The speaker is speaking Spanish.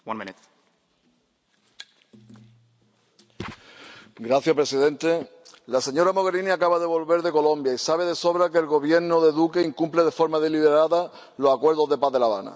Señor presidente, la señora Mogherini acaba de volver de Colombia y sabe de sobra que el Gobierno de Duque incumple de forma deliberada los acuerdos de paz de La Habana. La entrega de tierras a los campesinos no se ha producido.